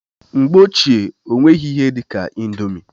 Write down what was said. Mgbe ochie, ọ nweghị ihe dị ka indomi.